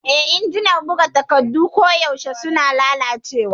Eh, injinan buga takardu koyaushe suna lalacewa.